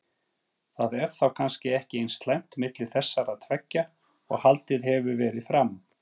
Það er þá kannski ekki eins slæmt milli þessara tveggja og haldið hefur verið fram?